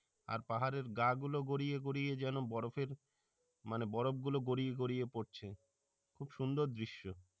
আর পাহাড়ের গা গুলো গড়িয়ে গড়িয়ে যেন বরফের মানে বরফ গুলো গড়িয়ে গড়িয়ে পড়ছে খুব সুন্দর দৃশ্য